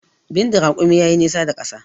Bindin rakumi ya yi nisa da ƙasa